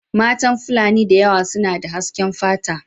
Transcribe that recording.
Mata fulani da yawa suna da hasken fata.